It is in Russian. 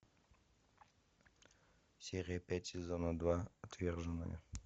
серия пять сезона два отверженные